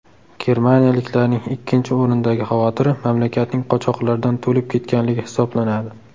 Germaniyaliklarning ikkinchi o‘rindagi xavotiri mamlakatning qochoqlardan to‘lib ketganligi hisoblanadi.